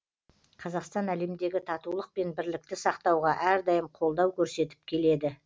қазақстан әлемдегі татулық пен бірлікті сақтауға әрдайым қолдау көрсетіп келеді